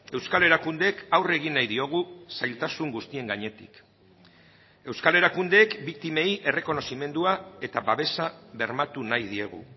euskal erakundeek aurre egin nahi diogu zailtasun guztien gainetik euskal erakundeek biktimei errekonozimendua eta babesa bermatu nahi diegu